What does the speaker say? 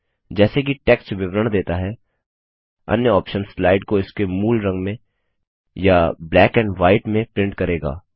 जैसे कि टेक्स्ट विवरण देता है अन्य ऑप्शंस स्लाइड को इसके मूल रंग में या ब्लैक एंड ह्वाइट में प्रिंट करेगा